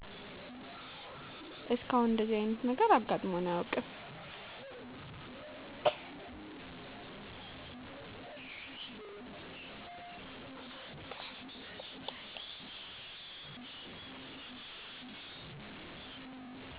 እስካሁን እንደዚህ አይነት ነገር አጋጥሞን አያውቅም